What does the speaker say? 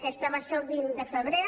aquesta va ser el vint de febrer